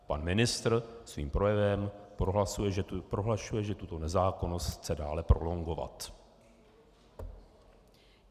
Pan ministr svým projevem prohlašuje, že tuto nezákonnost chce dále prolongovat.